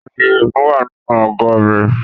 Adìye mi wà nínú àgó rẹ̀